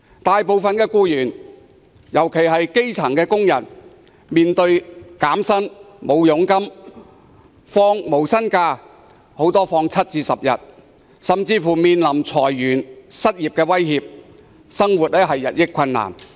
大部分僱員，尤其是基層工人要面對減薪、沒有佣金、放無薪假，甚至裁員、失業的威脅，生活日益困難。